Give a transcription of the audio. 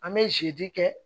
An bɛ zidi kɛ